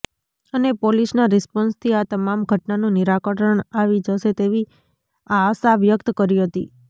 અને પોલીસના રીસ્પોન્સ થી આ તમામ ઘટનાનું નિરાકરણ આવી જશે તેવી આશાવ્યક્ત કરી હતી